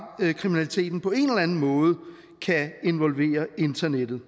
kriminaliteten på en eller anden måde kan involvere internettet